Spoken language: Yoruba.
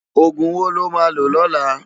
Ógún wó lo má ló lòlá?